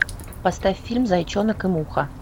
поставь фильм зайчонок и муха